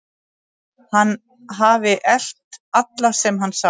Hann hafi elt alla sem hann sá.